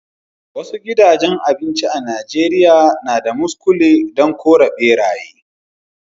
Wasu gidajen abinci a'Nijeriya na da muskule dan kore berayye.